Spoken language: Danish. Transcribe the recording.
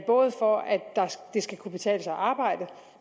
det skal kunne betale sig